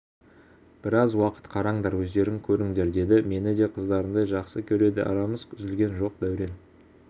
біраз уақыт қараңдар өздерің көріңдер деді мені де қыздарындай жақсы көреді арамыз үзілген жоқ дәурен